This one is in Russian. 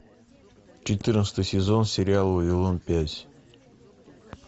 четырнадцатый сезон сериал вавилон пять